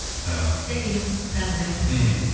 і сәлем тағы да мхм